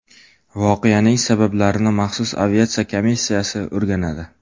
Voqeaning sabablarini maxsus aviatsiya komissiyasi o‘rganadi.